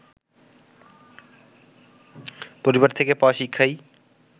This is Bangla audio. পরিবার থেকে পাওয়া শিক্ষাই